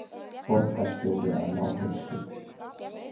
Borgarstjóri að ná heilsu